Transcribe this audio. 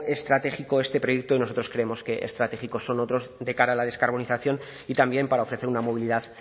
estratégico este proyecto y nosotros creemos que estratégicos son otros de cara a la descarbonización y también para ofrecer una movilidad